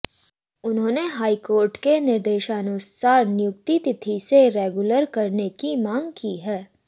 उन्होंने high court के निर्देशानुसार नियुक्ति तिथि से रेगुलर करने की मांग की है